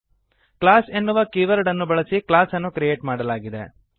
class ಎನ್ನುವ ಕೀವರ್ಡ್ಅನ್ನು ಬಳಸಿ ಕ್ಲಾಸ್ ಅನ್ನು ಕ್ರಿಯೇಟ್ ಮಾಡಲಾಗಿದೆ